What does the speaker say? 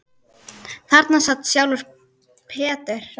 Þarna sat sjálfur Peter